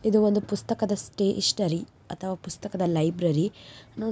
ಇದು ಒಂದು ಪುಸ್ತಕದ ಸ್ಟೆಷನರಿ ಅಥವಾ ಪುಸ್ತಕದ ಲೈಬ್ರರೀ--